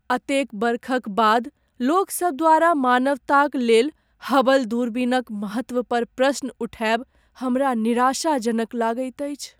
एतेक वर्षक बाद लोकसभ द्वारा मानवताक लेल हबल दूरबीनक महत्व पर प्रश्न उठाएब हमरा निराशाजनक लगैत अछि।